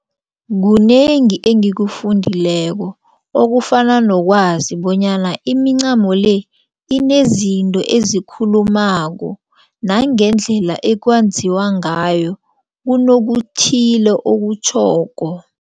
Kunengi engikufundileko okufana nokwazi bonyana imincamo le inezinto ezikhulumako. Nangendlela ekwenziwa ngayo kunokuthile okutjhoko.